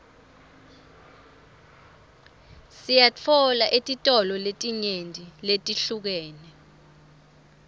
siyitfola etitolo letinyenti letihlukene